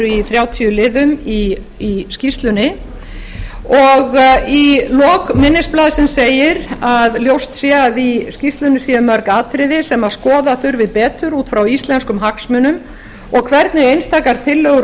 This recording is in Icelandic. í liðum í skýrslunni og í lok minnisblaðsins segir að ljóst sé að í skýrslunni sé mörg atriði sem skoða þurfi betur út frá íslenskum hagsmunum og hvernig einstakar tillögur og